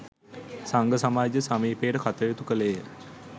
සංඝ සමාජය සමීපව කටයුතු කළේ ය.